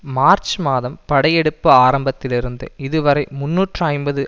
March மாதம் படை எடுப்பு ஆரம்பித்ததிலிருந்து இதுவரை முன்னூற்று ஐம்பது